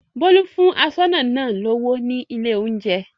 Bólú fún aṣọ́nà náà lówó ní ilé-oúnjẹ.